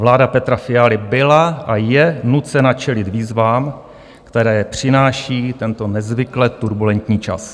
Vláda Petra Fialy byla a je nucena čelit výzvám, které přináší tento nezvykle turbulentní čas.